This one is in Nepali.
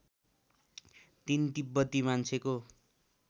३ तिब्बती मान्छेको